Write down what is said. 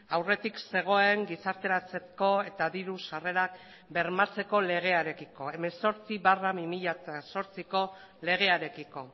aurretik zegoen gizarteratzeko eta diru sarrerak bermatzeko legearekiko hemezortzi barra bi mila zortziko legearekiko